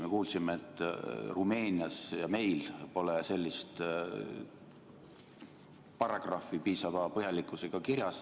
Me kuulsime, et Rumeenias ja meil pole sellist paragrahvi piisava põhjalikkusega kirjas.